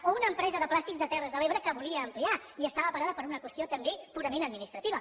o una empresa de plàstics de terres de l’ebre que volia ampliar i estava parada per una qüestió també purament administrativa